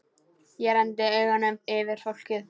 Ég renndi augunum yfir fólkið.